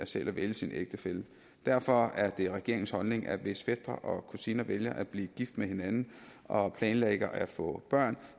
selv at vælge sin ægtefælle derfor er det regeringens holdning at hvis fætre og kusiner vælger at blive gift med hinanden og planlægger at få børn